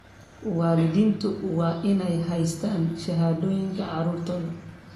Waalidiintu waa inay haystaan ??shahaadooyinka carruurtooda.